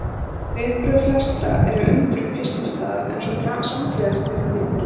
Viðbrögð flestra eru undrun fyrst í stað en svo samgleðjast þeir henni innilega.